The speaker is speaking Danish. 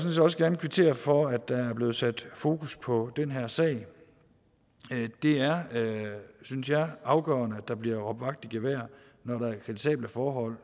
også gerne kvittere for at der er blevet sat fokus på den her sag det er synes jeg afgørende at der bliver råbt vagt i gevær når der er kritisable forhold